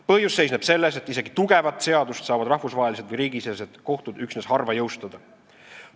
Põhjus seisneb selles, et isegi tugevat seadust saavad üksnes harva jõustada.